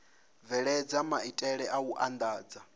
bveledza maitele a u andadza